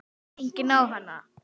Enginn á hana.